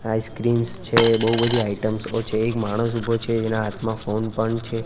Ice creams છે બોવ બધી આઈટમસો છે એક માણસ ઉભો છે જેના હાથમા ફોન પણ છે.